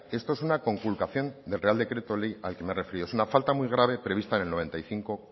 esto es una conculcación del real decreto ley al que me he referido es una falta muy grave prevista en el noventa y cinco